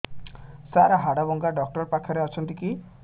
ସାର ହାଡଭଙ୍ଗା ଡକ୍ଟର ପାଖରେ ଅଛନ୍ତି କି